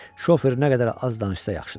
Şofer nə qədər az danışsa, yaxşıdır.